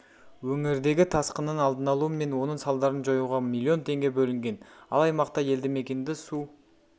өңірдегі тасқынның алдын алу мен оның салдарын жоюға миллион теңге бөлінген ал аймақта елдімекенді су